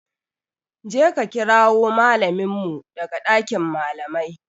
Je ka kirawo mallamin mu daga dakin malamai.